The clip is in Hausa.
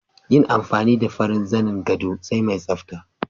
Yin amfani da farin zanin gado sai mai tsafta